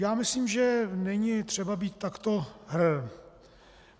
Já myslím, že není třeba být takto hrrr.